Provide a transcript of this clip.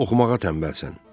Sən oxumağa tənbəlsən.